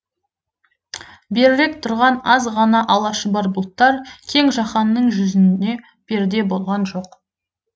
берірек тұрған аз ғана ала шұбар бұлттар кең жаһанның жүзіне перде болған жоқ